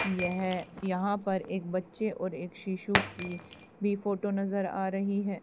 यह यहां पर एक बच्चे और एक शिशु की भी फोटो नजर आ रही है।